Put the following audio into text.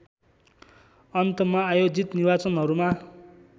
अन्तमा आयोजित निर्वाचनहरूमा